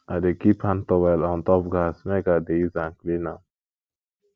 i dey keep hand towel on top gas make i dey use am clean am